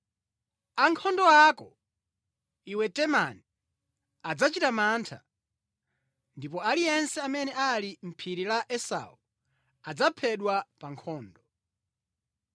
Ankhondo ako, iwe Temani, adzachita mantha, ndipo aliyense amene ali mʼphiri la Esau adzaphedwa pa nkhondo.